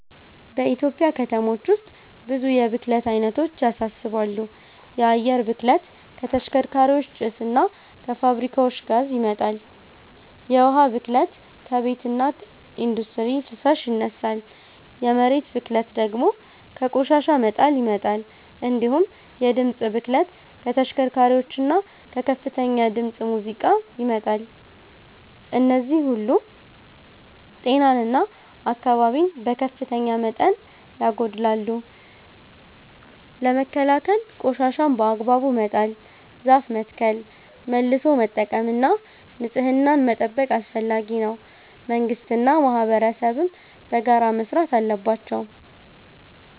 በኢትዮጵያ ከተሞች ውስጥ ብዙ የብክለት አይነቶች ያሳስባሉ። የአየር ብክለት ከተሽከርካሪዎች ጭስ እና ከፋብሪካዎች ጋዝ ይመጣል፤ የውሃ ብክለት ከቤትና ኢንዱስትሪ ፍሳሽ ይነሳል፤ የመሬት ብክለት ደግሞ ከቆሻሻ መጣል ይመጣል። እንዲሁም የድምፅ ብክለት ከተሽከርካሪዎችና ከከፍተኛ ድምፅ ሙዚቃ ይመጣል። እነዚህ ሁሉ ጤናን እና አካባቢን በከፍተኛ መጠን ያጎድላሉ። ለመከላከል ቆሻሻን በአግባቡ መጣል፣ ዛፍ መትከል፣ መልሶ መጠቀም እና ንጽህናን መጠበቅ አስፈላጊ ነው፤ መንግስትና ማህበረሰብም በጋራ መስራት አለባቸው።